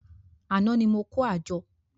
Àná ni mo kó àjọ